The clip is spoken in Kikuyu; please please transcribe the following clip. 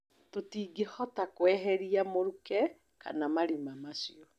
Tũtingĩhota kweheria mũruke kana marima macio